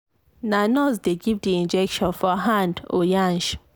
na nurse dey give the injection for hand or yansh.